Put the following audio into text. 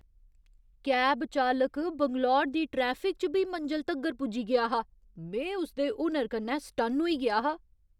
cab चालक बैंगलोर दी traffic च बी मंजल तगर पुज्जी गेआ हा, में उसदे हुनर कन्नै सटन्न होई गेआ हा